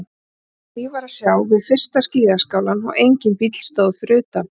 Ekkert líf var að sjá við fyrsta skíðaskálann og enginn bíll stóð fyrir utan.